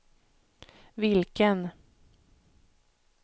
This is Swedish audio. vilken